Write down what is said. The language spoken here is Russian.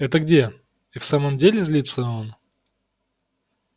это где и в самом деле злится он